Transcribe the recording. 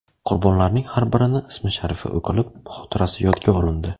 Qurbonlarning har birini ismi-sharifi o‘qilib, xotirasi yodga olindi.